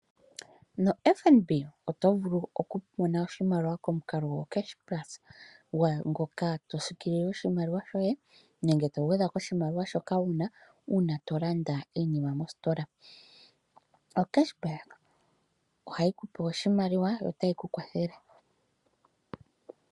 No Fnb oto vulu oku mona oshimaliwa komukalo go cash plus gwawo ngoka to sikilile oshimaliwa shoye nenge to gwedha koshimaliwa shoka wuna uuna to landa iinima mositola. O cash back ohayi kupe oshimaliwa yo tayi ku kwathele.